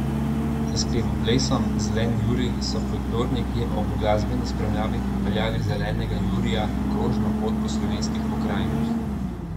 S spevoplesom Zeleni Jurij so folklorniki ob glasbeni spremljavi popeljali Zelenega Jurija na krožno pot po slovenskih pokrajinah.